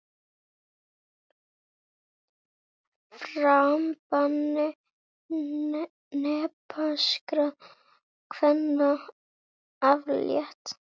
Farbanni nepalskra kvenna aflétt